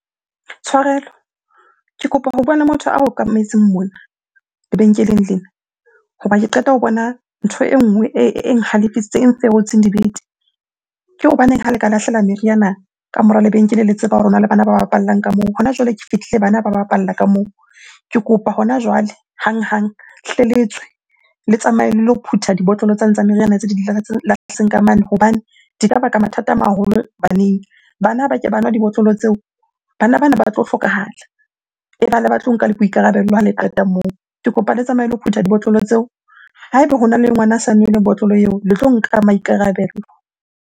Tshwarelo, ke kopa ho bua le motho a okametseng mona lebenkeleng lena. Hoba ke qeta ho bona ntho e nngwe e nhalefisitseng, e nferotseng dibete. Ke hobaneng ha le ka lahlela meriana ka mora lebenkele le tseba hore hona le bana ba bapallang ka moo? Hona jwale ke fihlile bana ba bapala ka moo. Ke kopa hona jwale hanghang, hle le tswe le tsamaye le lo phutha dibotlolo tsane tsa meriana tse di lahletseng ka mane hobane di ka baka mathata a maholo baneng. Bana ha ke ba nwa dibotlolo tseo, bana bana ba tlo hlokahala tlo nka le boikarabelo ha le qeta moo. Ke kopa le tsamaye le lo phutha dibotlolo tseo. Ha ebe hona le ngwana a sa nwele botlolo eo, le tlo nka maikarabelo.